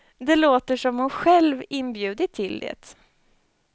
Det låter som om hon själv inbjudit till det.